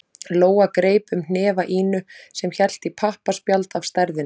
Lóa greip um hnefa Ínu sem hélt í pappaspjald af stærðinni